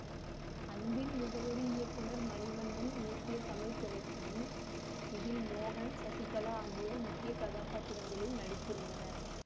அன்பின் முகவரி இயக்குனர் மணிவண்ணன் இயக்கிய தமிழ் திரைப்படம் இதில் மோகன் சசிகலா ஆகியோர் முக்கிய கதாபாத்திரங்களில் நடித்திருந்தனர்